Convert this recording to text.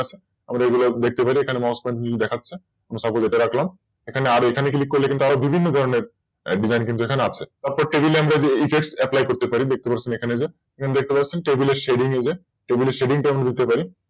আবার এগুলোও দেখতে পারি এখানে MousePointer টা নীল দেখাচ্ছে, তো Suppose এখানে এটা রাখলামএখানে Click করলে কিন্তু আরও বিভিন্ন ধরনের Design কিন্তু এখানে আছে তারপর দেখুন আমরা যদি Proper আমরা যদি TextApply করতে পারি, দেখতে পাচ্ছেন এখানে যেএখানে দেখতে পাচ্ছেন Table এর Shading যে Table এর Shading টা আমরা দিতে পারি